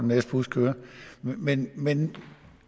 næste bus kører men men